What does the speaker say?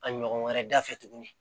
A ɲɔgɔn wɛrɛ dafɛ tuguni